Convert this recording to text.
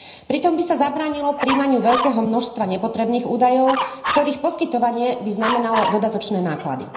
Pritom by sa zabránilo prijímaniu veľkého množstva nepotrebných údajov, ktorých poskytovanie by znamenalo dodatočné náklady.